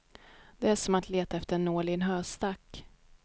Det är som att leta efter en nål i en höstack.